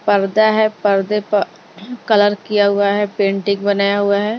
पर्दा है पर्दे पर कलर किया हुआ है पेंटिंग बनाया हुआ है।